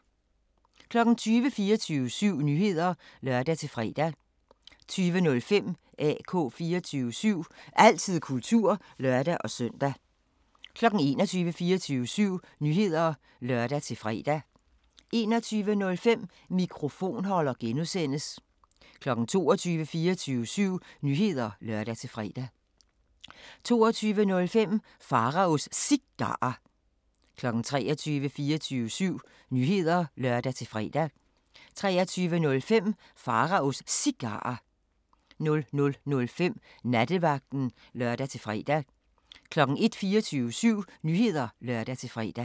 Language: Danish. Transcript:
20:00: 24syv Nyheder (lør-fre) 20:05: AK 24syv – altid kultur (lør-søn) 21:00: 24syv Nyheder (lør-fre) 21:05: Mikrofonholder (G) 22:00: 24syv Nyheder (lør-fre) 22:05: Pharaos Cigarer 23:00: 24syv Nyheder (lør-fre) 23:05: Pharaos Cigarer 00:05: Nattevagten (lør-fre) 01:00: 24syv Nyheder (lør-fre)